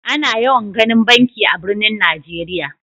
Ana yawan ginin banki a'birnin Nijeriya.